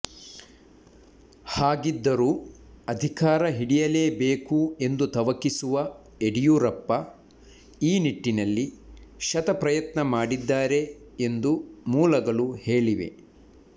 ಹಾಗಿದ್ದರೂ ಅಧಿಕಾರ ಹಿಡಿಯಲೇಬೇಕು ಎಂದು ತವಕಿಸಿರುವ ಯಡಿಯೂರಪ್ಪ ಈ ನಿಟ್ಟಿನಲ್ಲಿ ಶತಪ್ರಯತ್ನ ಮಾಡಿದ್ದಾರೆ ಎಂದು ಮೂಲಗಳು ಹೇಳಿವೆ